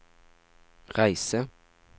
reise